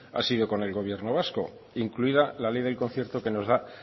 ha sido con el gobierno vasco incluida la ley del concierto que nos da